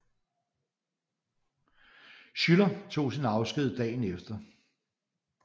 Schuyler tog sin afsked dagen efter